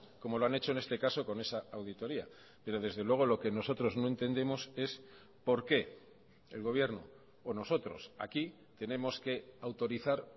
como lo han hecho en este caso con esa auditoría pero desde luego lo que nosotros no entendemos es por qué el gobierno o nosotros aquí tenemos que autorizar